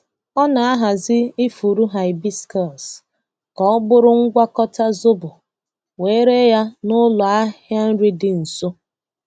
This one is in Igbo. Ọ na-ahazi ifuru hibiscus ka ọ bụrụ ngwakọta zobo wee ree ya n'ụlọ ahịa nri dị nso.